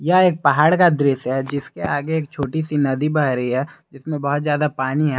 यह एक पहाड़ का दृश्य है जिसके आगे एक छोटी सी नदी बह रही है इसमें बहुत जद्दा पानी है।